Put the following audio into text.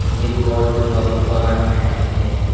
ये बौद्ध भगवान है मेरे।